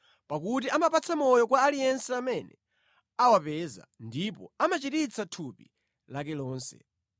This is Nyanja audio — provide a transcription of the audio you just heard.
Pakuti amapatsa moyo kwa aliyense amene awapeza ndipo amachiritsa thupi lake lonse.